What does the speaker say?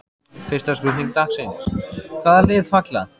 Fyrsta spurning dagsins: Hvaða lið falla?